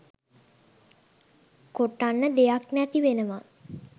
කොටන්න දෙයක් නැති වෙනවා